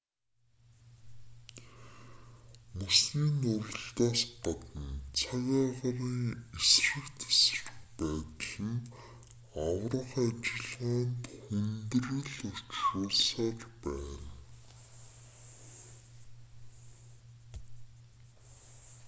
мөсний нуралтаас гадна цаг агаарын эсрэг тэсрэг байдал нь аврах ажиллагаанд хүндрэл учруулсаар байна